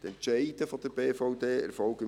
Die Entscheide der BVD erfolgen im